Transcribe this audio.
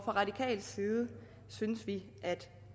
radikal side synes vi at